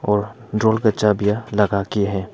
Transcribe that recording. और ड्रॉवर का चाबियां लगा के है।